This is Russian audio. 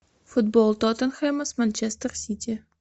футбол тоттенхэма с манчестер сити